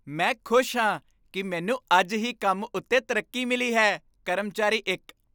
ਮੈਂ ਖੁਸ਼ ਹਾਂ ਕੀ ਮੈਨੂੰ ਅੱਜ ਹੀ ਕੰਮ ਉੱਤੇ ਤਰੱਕੀ ਮਿਲੀ ਹੈ ਕਰਮਚਾਰੀ ਇੱਕ